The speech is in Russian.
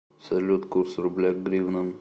салют курс рубля к гривнам